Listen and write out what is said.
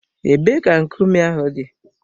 Ebee ka nkume ahụ dị?